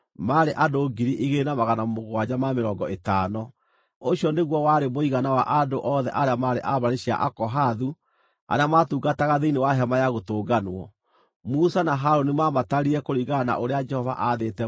Ũcio nĩguo warĩ mũigana wa andũ othe arĩa maarĩ a mbarĩ cia Akohathu arĩa maatungataga thĩinĩ wa Hema-ya-Gũtũnganwo. Musa na Harũni maamatarire kũringana na ũrĩa Jehova aathĩte Musa.